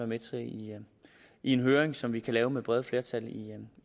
med til i en høring som vi kan lave med brede flertal